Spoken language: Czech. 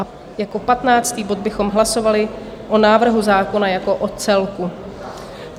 A jako patnáctý bod bychom hlasovali o návrhu zákona jako o celku.